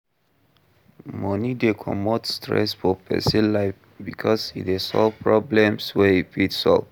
Money de comot stress for persin life because e de solve problems wey e fit solve